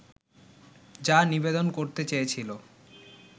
যা নিবেদন করতে চেয়েছিলো